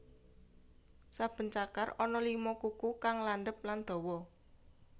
Saben cakar ana lima kuku kang landhep lan dawa